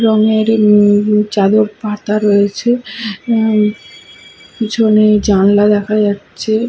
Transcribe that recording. রঙের উম চাদর পাতা রয়েছে পিছনে জানলা দেখা যাচ্ছে --